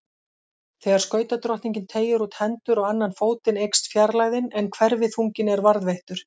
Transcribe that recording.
Þegar skautadrottningin teygir út hendur og annan fótinn eykst fjarlægðin en hverfiþunginn er varðveittur.